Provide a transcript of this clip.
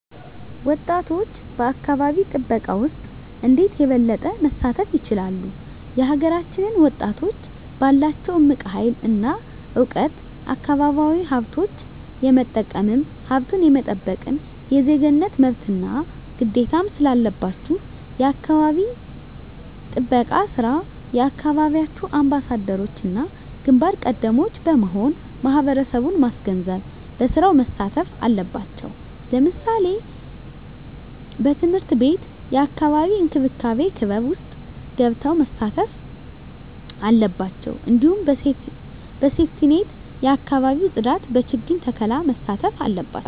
ወጣቶች በአካባቢ ጥበቃ ውስጥ እንዴት የበለጠ መሳተፍ ይችላሉ? የሀገራችንን ወጣቶች ባላቸው እምቅ ሀይል እና እውቀት አካባቢያዊ ሀብቶች የመጠቀምም ሀብቱን የመጠበቅም የዜግነት መብትና ግዴታም ስላለባችሁ የአካባቢ ጥበቃ ስራ የየአካባቢያችሁ አምባሳደሮችና ግንባር ቀደሞች በመሆን ማህበረሰቡን ማስገንዘብ በስራው መሳተፍ አለባቸው ለምሳሌ በትምህርት ቤት የአካባቢ እንክብካቤ ክበብ ውስጥ ገብተው መሳተፍ አለባቸው እንዲሁም በሴፍትኔት የአካባቢ ፅዳት በችግኝ ተከላ መሳተፍ አለባቸው